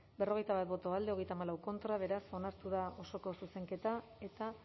berrogeita bat boto alde treinta y cuatro contra beraz onartu da osoko zuzenketa eta